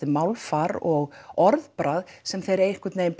málfar og orðbragð sem þeir einhvern veginn